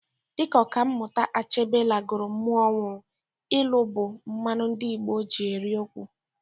Dịka ọka mmụta Achebe lagoro mmụọ kwuru, ịlụ bụ mmanụ ndị Igbo ji eri okwu